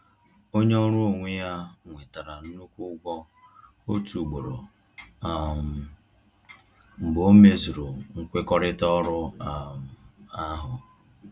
Onye ọrụ onwe ya nwetara nnukwu ụgwọ otu ugboro um mgbe o mezuru nkwekọrịta ọrụ um ahụ